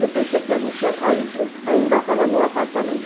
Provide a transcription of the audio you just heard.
Eu pensei que a gente... Ainda estava no apartamento.